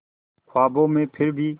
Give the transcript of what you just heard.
ख्वाबों में फिर भी